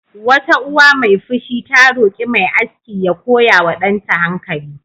Wata uwa mai fushi ta roƙi mai aski da ya koya wa danta hankali.